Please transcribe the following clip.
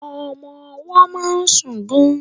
Ọmọ ọwọ́ máa ń sùn gan.